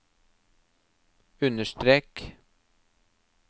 understrek